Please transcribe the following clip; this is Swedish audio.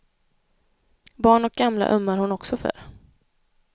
Barn och gamla ömmar hon också för.